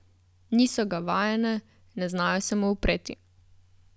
Niso ga vajene, ne znajo se mu upreti.